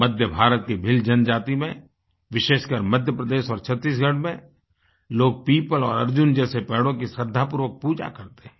मध्य भारत की भील जनजाति में विशेषकर मध्य प्रदेश और छत्तीसगढ़ में लोग पीपल और अर्जुन जैसे पेड़ों की श्रद्धापूर्वक पूजा करते हैं